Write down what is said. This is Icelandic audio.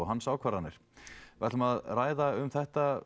hans ákvarðanir við ætlum að ræða um þetta